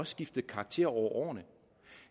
skiftet karakter over årene